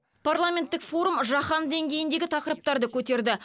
парламенттік форум жаһан деңгейіндегі тақырыптарды көтерді